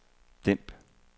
dæmp